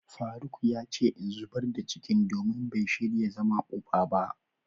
faruk yace in zubar da cikin domin bai shirya zama uba ba.